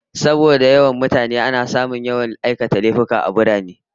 Saboda yawan jama'a a birane, ana samun yawan aikata laifuffuka